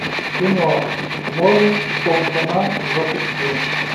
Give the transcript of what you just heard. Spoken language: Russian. кино море султана запусти